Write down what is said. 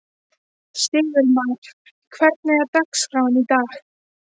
Sigurmar, hvernig er dagskráin í dag?